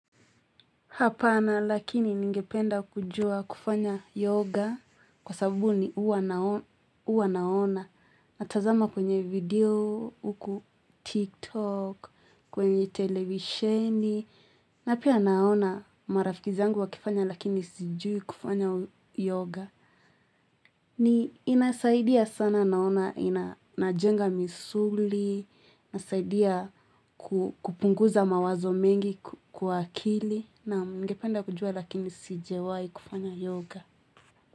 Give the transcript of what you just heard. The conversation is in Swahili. Hapana lakini ningependa kujua kufanya yoga kwa sababu huwa naona. Natazama kwenye video, huku tiktok, kwenye televisheni. Na pia naona marafiki zangu wakifanya lakini sijui kufanya yoga. Hii inasaidia sana naona inajenga misuli, inasaidia kupunguza mawazo mengi kwa akili. Naam ningependa kujua lakini sijawai kufanya yoga.